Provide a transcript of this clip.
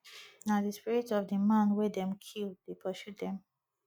na di spirit of di man wey dem kill dey pursue dem